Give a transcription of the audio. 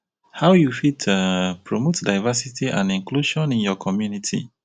how you fit um promote diversity and inclusion in your community?